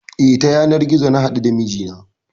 E, ta yanar gizo na haɗu da mijina.